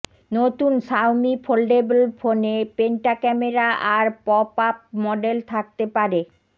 নতুন Xiaomi foldable ফোনে penta camera আর পপ আপ মডেল থাকতে পারে